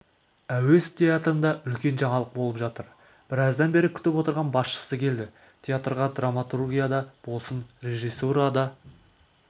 әуезов театрында үлкен жаңалық болып жатыр біраздан бері күтіп отырған басшысы келді театрға драматургияда болсын режиссурада